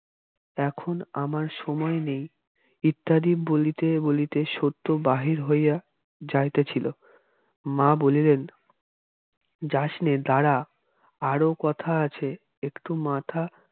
এখন আমার সময় নেই ইত্যাদি বলিতে বলিতে সত্য বাহির হইয়া যাইতেছিল মা বলিলেন যাসনে দাঁড়া আরও কথা আছে একটু মাথা